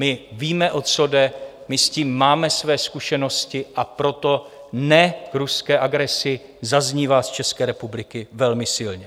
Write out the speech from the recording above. My víme, o co jde, my s tím máme své zkušenosti, a proto "ne" ruské agresi zaznívá z České republiky velmi silně.